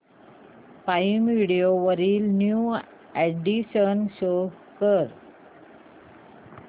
prime Video वरील new additions show कर